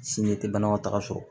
Sinji tɛ banakɔtaga sɔrɔ